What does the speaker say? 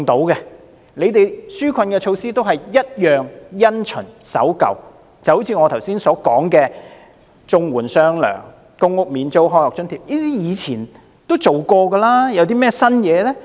政府的紓困措施也是"一樣、因循和守舊"，就正如我剛才說的綜援"出雙糧"、公屋免租、開學津貼等，這些措施以前已經提出及實行過，有甚麼新意呢？